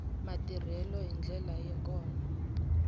matirhelo hi ndlela yo ka